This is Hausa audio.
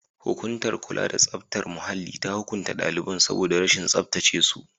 Hukumar kula da tsaftar muhalli ta hukunta daliban saboda rashin tsaftace su.